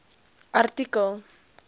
artikel